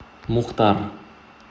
мухтар